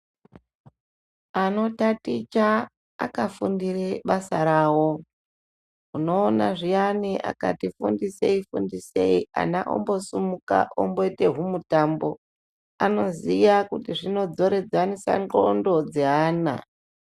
Anotaticha akafundire basa rawo. Unoona zviyani akati fundisei fundisei ana ombosumuka omboite humutambo. Anoziye kuti zvinodzoredzanisa ndxondo dzeana.